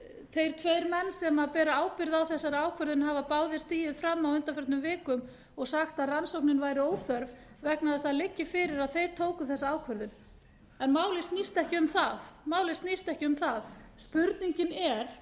þeir tveir menn sem bera a ábyrgð á þessari ákvörðun hafa báðir stigið fram á undanförnu vikum og sagt að rannsóknin væri óþörf vegna þess að það liggi fyrir að þeir tóku þessa ákvörðun en málið snýst ekki um það spurningin er